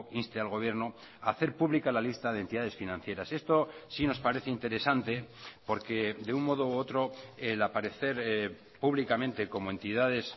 inste al gobierno a hacer pública la lista de entidades financieras esto sí nos parece interesante porque de un modo u otro el aparecer públicamente como entidades